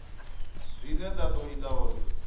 dzine dza ḓo ita uri